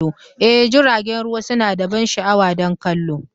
Ee, jiragen ruwa suna da ban sha'awa don kallo!